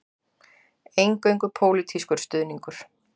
Eingöngu pólitískur stuðningur